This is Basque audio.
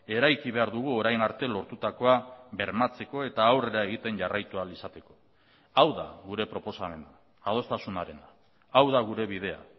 eraiki behar dugu orain arte lortutakoa bermatzeko eta aurrera egiten jarraitu ahal izateko hau da gure proposamena adostasunarena hau da gure bidea